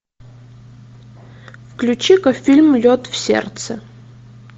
включи ка фильм лед в сердце